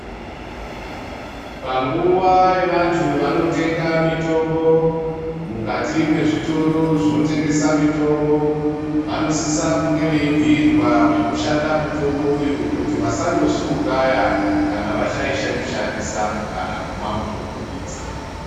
Panguwa yevandu vanotenga mitombo mukati mezvitoro zvinotengesa mitombo vanosisa kunge veibhirwa zvinoshanda mutombo uyu kuti vasandozviuraya kana vashaisha kushandisa kana kumwa mutombo idzi.